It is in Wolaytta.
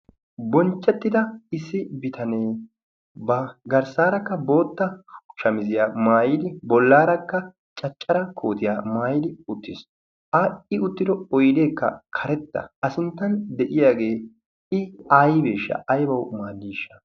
Bonchchettida issi bitanee ba garssaarakka bootta shamiziyaa maayidi bollaarakka caccara kootiyaa maayidi uttiis. A i uttido oydeekka karetta a sinttan de'iyaagee i aaybeeshsha? aybawu maadiishsha?